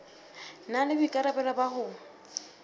na le boikarabelo ba ho